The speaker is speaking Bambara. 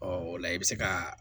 o la i bɛ se ka